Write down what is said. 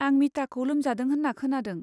आं मिताखौ लोमजादों होन्ना खोनादों।